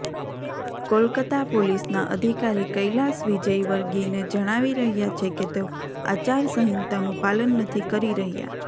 કોલકાતા પોલીસનાં અધિકારી કૈલાશ વિજયવર્ગીયને જણાવી રહ્યાં છે કે તેઓ આચારસંહિતાનું પાલન નથી કરી રહ્યાં